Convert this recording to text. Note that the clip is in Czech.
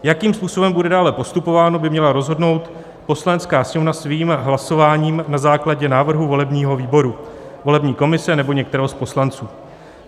Jakým způsobem bude dále postupováno, by měla rozhodnout Poslanecká sněmovna svým hlasováním na základě návrhu volebního výboru, volební komise nebo některého z poslanců.